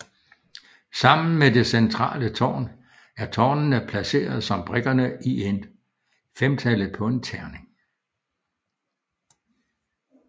Sammen med det centrale tårn er tårnene placeret som prikkerne i femtallet på en terning